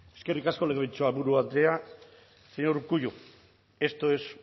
eskerrik asko legebiltzarburu andrea señor urkullu esto es